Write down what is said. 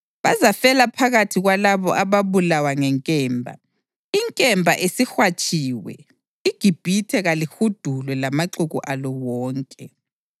Bazafela phakathi kwalabo ababulawa ngenkemba. Inkemba isihwatshiwe; iGibhithe kalihudulwe lamaxuku alo wonke.